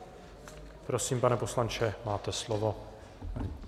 Prosím, pane poslanče, máte slovo.